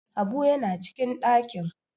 habu yana cikin dakin!